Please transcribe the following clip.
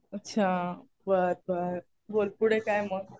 अच्छा. बरं बरं. बोल पुढे काय मग.